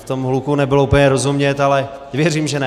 V tom hluku nebylo úplně rozumět, ale věřím, že ne.